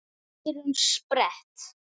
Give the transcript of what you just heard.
Eyrun sperrt.